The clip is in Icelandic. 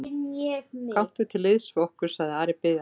Gakktu til liðs við okkur, sagði Ari biðjandi.